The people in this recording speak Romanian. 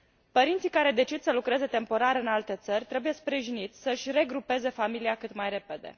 Părinții care decid să lucreze temporar în alte țări trebuie sprijiniți să și regrupeze familia cât mai repede.